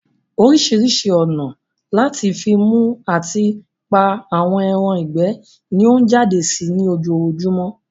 Orísirísi ònà lati fi mú ati pa àwọn ẹran ìgbẹ́ ni ọ n jáde sí ní ojojúmọ́